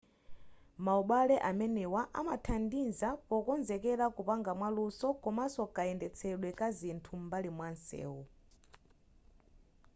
maubale amenewa amathandiza pokonzekera kupanga mwa luso komaso kayendetsedwe kazinthu zam'mbali mwamsewu